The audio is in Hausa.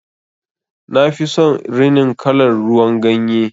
Nafi son rinin kalar ruwan ganye.